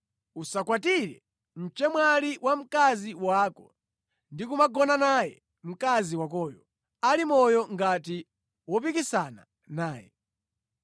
“ ‘Usakwatire mchemwali wa mkazi wako ndi kumagonana naye mkazi wakoyo ali moyo ngati wopikisana naye.